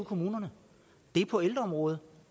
kommunerne er på ældreområdet